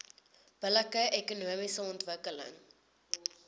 billike ekonomiese ontwikkeling